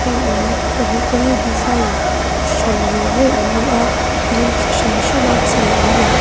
heng in pahnih te hi design hran ve ve an ni a a rawng chu hran hran a chei an ni.